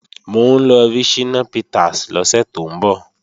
Mò ń lọ rí Ṣínà Peters lọ́sẹ̀ tó ń bọ̀